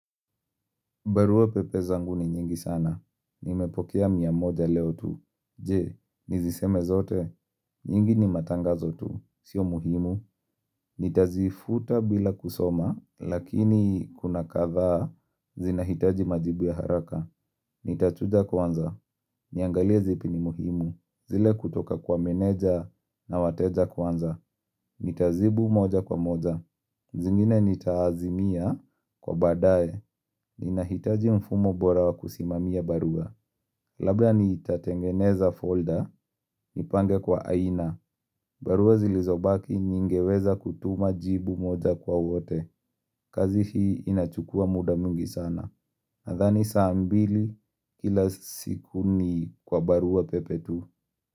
Barua pepe zangu ni nyingi sana, nimepokea miamoja leo tu, je, niziseme zote, nyingi ni matangazo tu, sio muhimu, nitazifuta bila kusoma, lakini kuna kadhaa, zinahitaji majibu ya haraka, nitachuja kwanza, niangalie zipi ni muhimu, zile kutoka kwa meneja na wateja kwanza, nitazibu moja kwa moja, zingine nitaazimia kwa badaye, ni nahitaji mfumo bora wa kusimamia barua Labda ntatengeneza folder Nipange kwa aina barua zilizobaki ningeweza kutuma jibu moja kwa wote kazi hii inachukua muda mwingi sana Nadhani saambili kila siku ni kwa barua pepe tu.